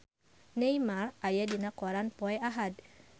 Neymar aya dina koran poe Ahad